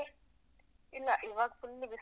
ಇಲ್ಲ. ಇವಾಗ್ full ಬಿಸ್ಲು.